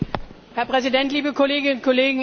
Herr Präsident, liebe Kolleginnen und Kollegen!